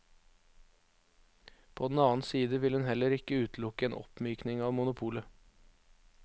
På den annen side vil hun heller ikke utelukke en oppmykning av monopolet.